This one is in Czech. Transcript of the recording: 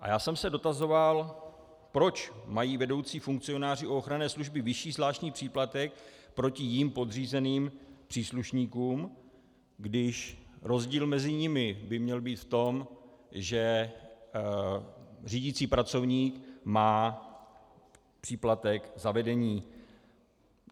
A já jsem se dotazoval, proč mají vedoucí funkcionáři u ochranné služby vyšší zvláštní příplatek proti jim podřízeným příslušníkům, když rozdíl mezi nimi by měl být v tom, že řídící pracovník má příplatek za vedení.